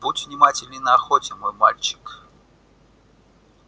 будь внимателен на охоте мой мальчик